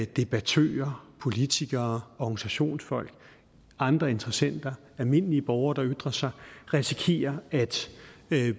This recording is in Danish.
debattører politikere organisationsfolk andre interessenter almindelige borgere der ytrer sig risikerer at